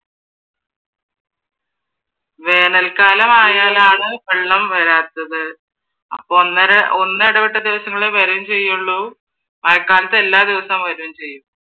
വേനൽക്കാലമായാലാണ് വെള്ളം വരാത്തത് അപ്പ ഒന്നിടവിട്ട ദിവസങ്ങളിലാ വരും ചെയ്യുള്ളു മഴക്കാലത്ത് എല്ലാ ദിവസവും വരുകയും ചെയ്യും